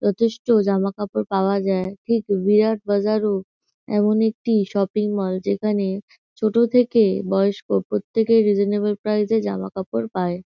যথেষ্ট জামাকাপড় পাওয়া যায় ঠিক ভিরাট বাজার -ও এমনই একটি শপিং মল যেখানে ছোট থেকে বয়স্ক প্রত্যেকের রিজানেবাল প্রাইসে জামাকাপড় পায়।